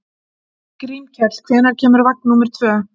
Grímkell, hvenær kemur vagn númer tvö?